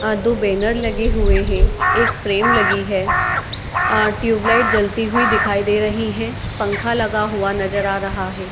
आ दो बैनर लगे हुए हैं | एक फ्रेम लगी है | आ ट्यूब लाइट जलती हुई दिखाई दे रही हैं | पंखा लगा हुआ नजर आ रहा है |